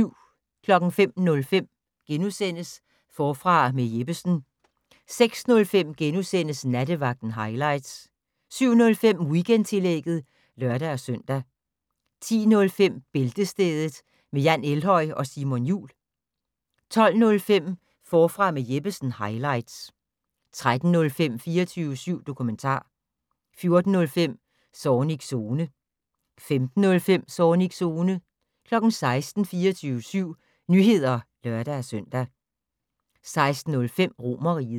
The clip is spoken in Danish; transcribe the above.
05:05: Forfra med Jeppesen * 06:05: Nattevagten highlights * 07:05: Weekendtillægget (lør-søn) 10:05: Bæltestedet med Jan Elhøj og Simon Jul 12:05: Forfra med Jeppesen - highlights 13:05: 24syv dokumentar 14:05: Zornigs Zone 15:05: Zornigs Zone 16:00: 24syv Nyheder (lør-søn) 16:05: Romerriget